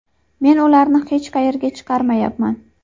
Men ularni hech qayerga chiqarmayapman.